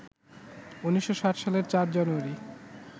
১৯৬০ সালের ৪ জানুয়ারি